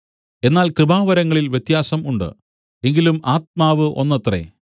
എന്നാൽ കൃപാവരങ്ങളിൽ വ്യത്യാസം ഉണ്ട് എങ്കിലും ആത്മാവ് ഒന്നത്രേ